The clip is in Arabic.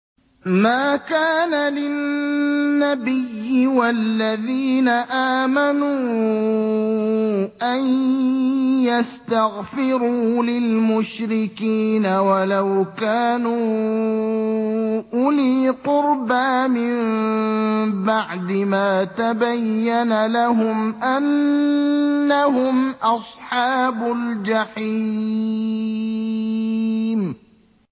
مَا كَانَ لِلنَّبِيِّ وَالَّذِينَ آمَنُوا أَن يَسْتَغْفِرُوا لِلْمُشْرِكِينَ وَلَوْ كَانُوا أُولِي قُرْبَىٰ مِن بَعْدِ مَا تَبَيَّنَ لَهُمْ أَنَّهُمْ أَصْحَابُ الْجَحِيمِ